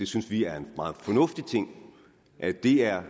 synes vi er en meget fornuftig ting at det er